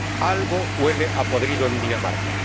Algo huele a podrido en Dinamarca.